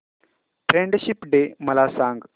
friendship day मला सांग